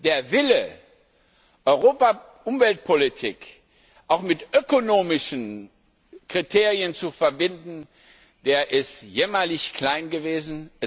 Der Wille, Europa Umweltpolitik auch mit ökonomischen Kriterien zu verbinden, ist jämmerlich klein gewesen.